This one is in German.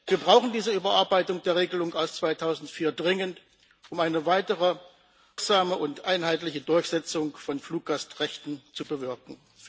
Wir brauchen diese Überarbeitung der Regelung aus dem Jahr 2004 dringend, um eine weitere wirksame und einheitliche Durchsetzung von Fluggastrechten zu bewirken.